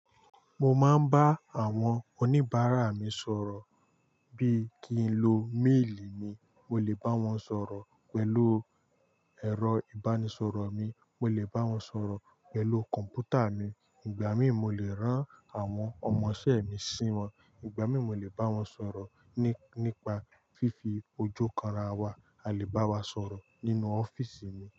Mo máa ń bá àwọn oníbàárà mi sọ̀rọ̀ bí i kí ń lo méèlì mi, mo lè bá wọn sọ̀rọ̀ pẹ̀lú ẹ̀rọ ìbánisọ̀rọ̀ mi, mo lè bá wọn sọ̀rọ̀ pẹ̀lú kọ̀m̀pútà mi, ìgbà mí mo lè rán àwọn ọmọṣẹ́ mi sí wọn, ìgbà mí mo lè bá wọn sọ̀rọ̀ nípa fífi ojú kanra wa, a lè bá wa sọ̀rọ̀ nínú ọ́fíísì mi.